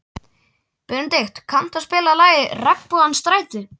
Benedikt, kanntu að spila lagið „Regnbogans stræti“?